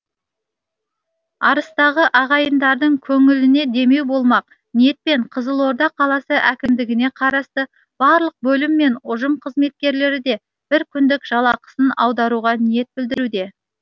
арыстағы ағайындардың көңіліне демеу болмақ ниетпен қызылорда қаласы әкімдігіне қарасты барлық бөлім мен ұжым қызметкерлері де бір күндік жалақысын аударуға ниет білдіруде